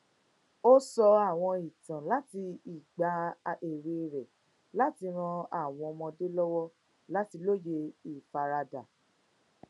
ó sọ àwọn ìtàn láti ìgbà èwe rẹ láti ran àwọn ọmọdé lọwọ láti lóye ìfaradà